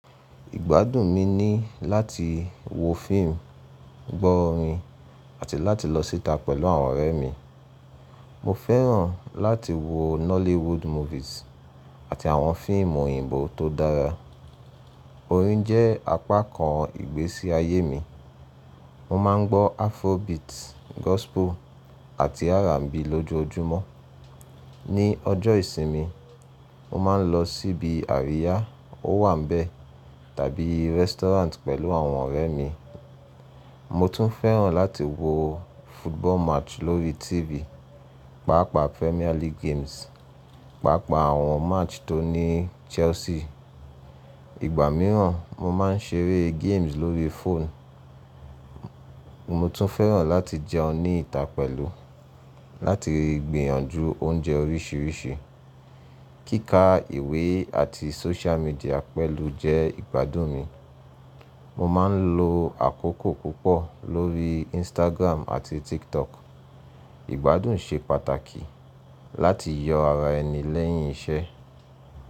Ìgbádùn mi ni láti wo fíìmù, gbọ́ orin àti láti lọ síta pẹ̀lú àwọn ọ̀rẹ́ mi. Mo fẹ́ràn láti wo Nollywood movies àti àwọn fíìmù òyìnbó tó dára. Orin jẹ́ apá kan ìgbésí ayé mi. Mo máa ń gbọ́ Afrobeat, Gospel àti R&B lójoojúmọ́. Ni ọjọ́ ìsinmi, mo máa ń lọ síbi àríyá, ó wà ńbẹ̀ tàbí rẹ́sítọ́ráǹtì pẹ̀lú àwọn ọ̀rẹ́ mi. Mo tún fẹ́ràn láti wo football match lórí TV, pàápàá Premier League games, pàápàá àwọn match tó ní Chelsea. Ìgbà mìíràn mo máa ń ṣeré games lórí fóònù. Mo tún fẹ́ràn láti jẹun níta pẹ̀lú, láti gbìyànjú oúnjẹ oríṣiríṣi. Kíka ìwé àti social media pẹ̀lú jẹ́ ìgbádùn mi. Mo máa ń lo àkókò púpọ̀ lórí Instagram àti TikTok. Ìgbádùn ṣe pàtàkì láti yọ ara ẹni lẹ́yìn iṣẹ́